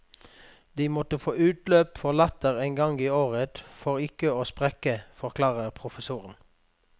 De måtte få utløp for latter en gang i året for ikke å sprekke, forklarer professoren.